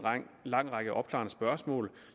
lang række opklarende spørgsmål